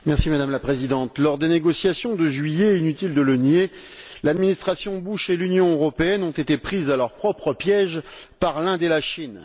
Madame la Présidente, lors des négociations de juillet, inutile de le nier, l'administration Bush et l'Union européenne ont été prises à leur propre piège par l'Inde et la Chine.